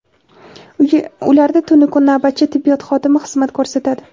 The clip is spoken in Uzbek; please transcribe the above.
ularda tunu kun navbatchi tibbiyot xodimi xizmat ko‘rsatadi.